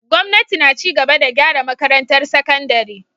Gwamnati na ci gaba da gyara makarantar sakandare.